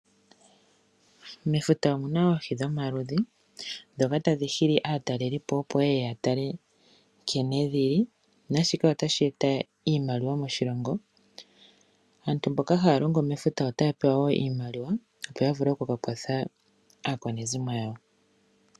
Mefuta omuna oohi dhomaludhi ndhoka tadhi hili aatalelipo opo ye ye ya tale nkene dhili naashika otashi eta iimaliwa moshilongo. Aantu mboka haya longo mefuta otaya pewa wo iimaliwa opo ya vule oku ka kwatha aakwanezimo yawo.